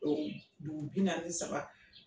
O dugu binaani ni saba.